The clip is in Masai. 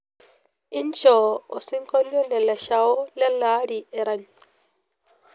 injoo osinkolio le leshao lele aari erany